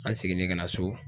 An seginnen ka na so.